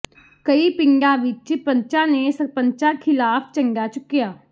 ਕਈ ਪਿੰਡਾਂ ਵਿੱਚ ਪੰਚਾਂ ਨੇ ਸਰਪੰਚਾਂ ਖਿਲਾਫ਼ ਝੰਡਾ ਚੁੱਕਿਆ